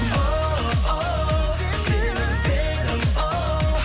оу сені іздедім оу